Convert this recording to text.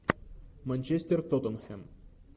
манчестер тоттенхэм